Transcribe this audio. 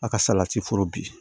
A ka salati foro bin